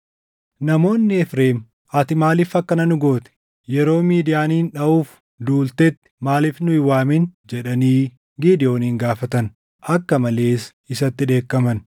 Namoonni Efreem, “Ati maaliif akkana nu goote? Yeroo Midiyaanin dhaʼuuf duultetti maaliif nu hin waamin?” jedhanii Gidewoon gaafatan. Akka malees isatti dheekkaman.